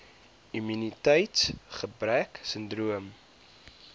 immuniteits gebrek sindroom